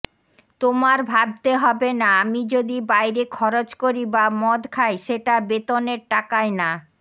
তোমার ভাবতে হবেনা আমি যদি বাইরে খরচ করি বা মদ খাই সেটা বেতনের টাকায় না